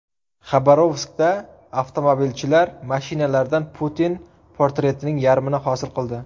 Xabarovskda avtomobilchilar mashinalardan Putin portretining yarmini hosil qildi.